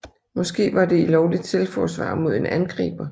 Måske var det i lovligt selvforsvar mod en angriber